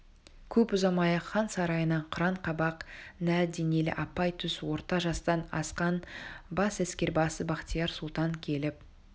көп ұзамай-ақ хан сарайына қыран қабақ нар денелі апай төс орта жастан асқан бас әскербасы бахтияр сұлтан келіп